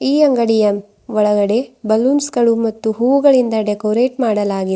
ಈ ಅಂಗಡಿಯ ಒಳಗಡೆ ಬಲೂನ್ಸ್ ಗಳು ಮತ್ತು ಹೂಗಳಿಂದ ಡೆಕೊರೆಟ್ ಮಾಡಲಾಗಿದೆ.